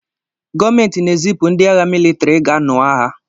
Gọọmentị na-ezipụ ndị agha mịlịtrị i ga-nụọ agha.